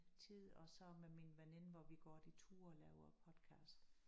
Tid og så med min veninde hvor vi går de ture og laver podcast